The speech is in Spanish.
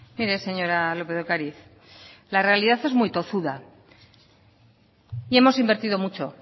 mire señora lópez de ocariz la realidad es muy tozuda y hemos invertido mucho